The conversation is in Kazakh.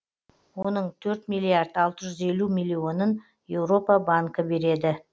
оның төрт миллиард алты жүз елу миллионын еуропа банкі береді